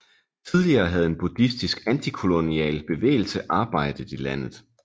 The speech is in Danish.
Tidligere havde en buddhistisk antikolonial bevægelse arbejdet i landet